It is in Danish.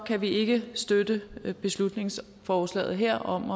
kan vi ikke støtte beslutningsforslaget her om